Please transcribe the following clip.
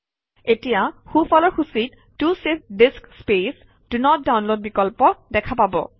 এতিয়া সোঁফালৰ সূচীত ত চেভ ডিআইএছচি স্পেচ ডন নত ডাউনলোড বিকল্প দেখা পাব